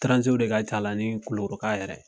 Taranzew de ka ca la ni kulukoroka yɛrɛ ye.